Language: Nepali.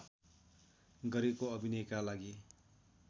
गरेको अभिनयका लागि